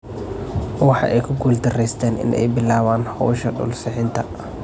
Waxa ay ku guuldaraysteen in ay bilaabaan hawsha dhul-sixinta.